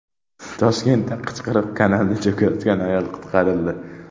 Toshkentda Qichqiriq kanalida cho‘kayotgan ayol qutqarildi.